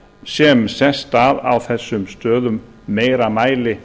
sem sest að á þessum stöðum í meira mæli